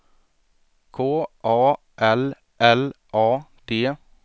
K A L L A D